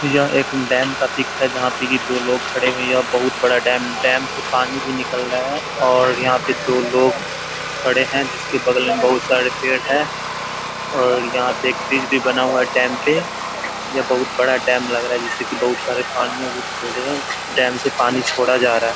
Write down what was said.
यह एक डैम का पिक है जहाँ पे की दो लोग खड़े हुए यह बोहुत बड़ा डैम डैम से पानी भी निकल रहा है और यहाँ पे दो लोग खड़े है जिसके बगल में बोहुत सारे पेड़ है और यहाँ पे एक ब्रिज भी बना हुआ है डैम पे ये बहुत बड़ा डैम लग रहा जिसे की पानी अभी निकल रहे डैम से पानी छोरा जा रहा --